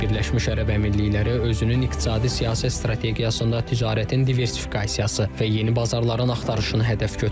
Birləşmiş Ərəb Əmirlikləri özünün iqtisadi-siyasi strategiyasında ticarətin diversifikasiyası və yeni bazarların axtarışını hədəf götürüb.